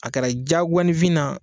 A kɛra diyagoyaninfin na